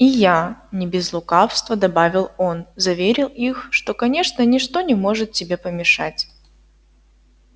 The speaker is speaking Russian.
и я не без лукавства добавил он заверил их что конечно ничто не может тебе помешать